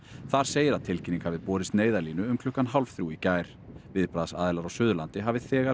þar segir að tilkynning hafi borist Neyðarlínu um klukkan hálf þrjú í gær viðbragðsaðilar á Suðurlandi hafi þegar